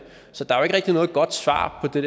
der